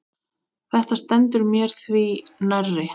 Þetta stendur mér því nærri.